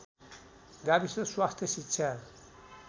गाविस स्वास्थ्य शिक्षा